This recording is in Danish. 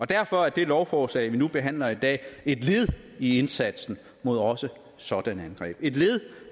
derfor er det lovforslag vi nu behandler i dag et led i indsatsen mod også sådanne angreb det et led i